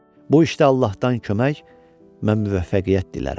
Bu işdə Allahdan kömək, mən müvəffəqiyyət dilərəm.